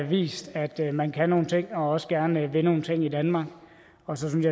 vist at man kan nogle ting og også gerne vil nogle ting i danmark og så synes